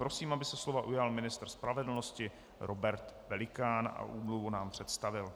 Prosím, aby se slova ujal ministr spravedlnosti Robert Pelikán a úmluvu nám představil.